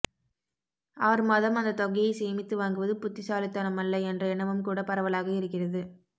ஆறு மாதம் அந்தத் தொகையைச் சேமித்து வாங்குவது புத்திசாலித்தனமல்ல என்ற எண்ணமும் கூடப் பரவலாக இருக்கிறது